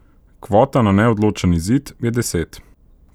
Kvota na neodločen izid je deset.